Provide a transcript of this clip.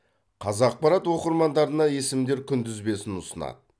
қазақпарат оқырмандарына есімдер күнтізбесін ұсынады